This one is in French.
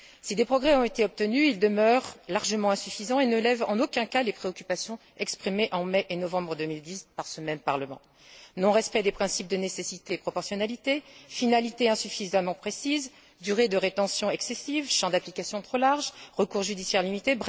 Si des progrès ont été obtenus, ils demeurent largement insuffisants et ne lèvent en aucun cas les préoccupations exprimées en mai et novembre 2010 par ce même Parlement non respect des principes de nécessité et de proportionnalité, finalité insuffisamment précise, durée de rétention excessive, champ d'application trop large, recours judiciaire limité.